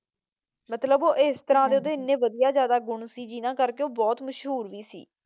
ਮਤਲਬ ਉਹ ਇਸ ਤਰ੍ਹਾਂ ਦੇ ਉਹਦੇ ਇਹਨੇ ਵਧਿਆ ਜ਼ਿਆਦਾ ਗੁਣ ਕਰਕੇ ਉਹ ਬਹੁਤ ਮਸ਼ਹੂਰੀ ਵੀ ਸੀ।